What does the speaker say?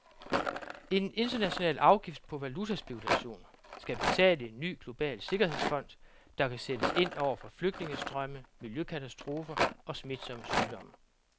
En international afgift på valutaspekulation skal betale en ny global sikkerhedsfond, der kan sættes ind over for flygtningestrømme, miljøkatastrofer og smitsomme sygdomme.